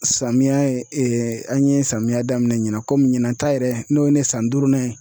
Samiya ye an ye samiya daminɛn ɲinan kɔmi ɲina ta yɛrɛ n'o ye ne san duurunan ye.